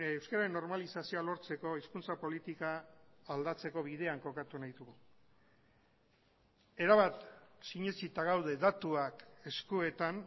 euskararen normalizazioa lortzeko hizkuntza politika aldatzeko bidean kokatu nahi dugu erabat sinetsita gaude datuak eskuetan